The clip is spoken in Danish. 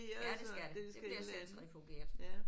Ja det skal det. Det bliver centrifugeret